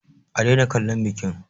A daina kallon bikin!